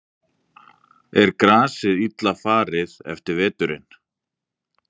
Lillý Valgerður Pétursdóttir: Er grasið illa farið eftir veturinn?